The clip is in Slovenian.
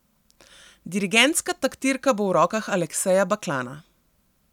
Dirigentska taktirka bo v rokah Alekseja Baklana.